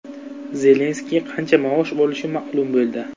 Zelenskiy qancha maosh olishi ma’lum bo‘ldi.